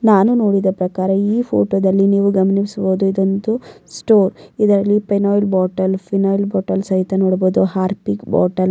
ನಾನು ನೋಡಿದ ಪ್ರಕಾರ ಈ ಫೋಟೋದಲ್ಲಿ ನೀವು ಗಮನಿಸಬಹುದು ಇದೊಂದು ಸ್ಟೋರ್ ಇದರಲ್ಲಿ ಫಿನೋಲ್ ಬಾಟೆಲ್ ಫಿನೋಲ್ ಬಾಟೆಲ್ ಸಹಿತ ನೋಡಬಹುದು ಹಾರ್ಪಿಕ್ ಬಾಟೆಲ್ --